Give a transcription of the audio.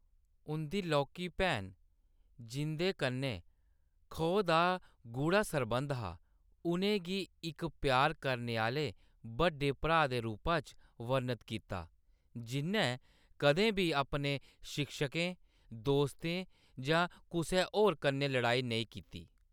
उंʼदी लौह्‌‌‌की भैन, जिंʼदे कन्नै खो दा गूढ़ा सरबंध हा, उʼनें गी इक प्यार करने आह्‌‌‌ले बड्डे भ्राऽ दे रूपा च वर्णत कीता, जिʼन्नै कदें बी अपने शिक्षकें, दोस्तें जां कुसै होर कन्नै लड़ाई नेईं कीती।